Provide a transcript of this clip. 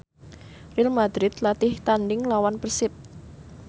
Real madrid latih tandhing nglawan Persib